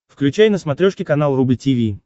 включай на смотрешке канал рубль ти ви